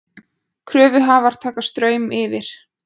Kröfuhafar taka Straum yfir